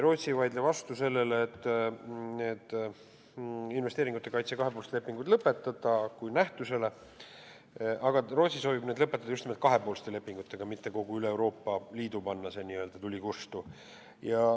Rootsi ei vaidle vastu investeeringute kaitse kahepoolsete lepingute lõpetamisele kui nähtusele, kuid soovib need lõpetada just nimelt kahepoolsete lepingutega, mitte panna üle Euroopa Liidu n-ö tuld kustu.